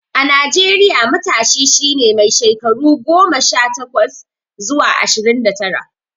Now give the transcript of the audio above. A Najeriya, matashi shi ne mai shekaru daga goma sha takwas zuwa ashirin da tara.